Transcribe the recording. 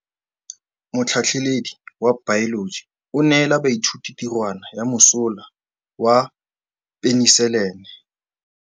Motlhatlhaledi wa baeloji o neela baithuti tirwana ya mosola wa peniselene.